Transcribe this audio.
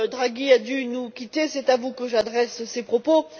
Draghi a dû nous quitter, c'est à vous que j'adresse ces propos.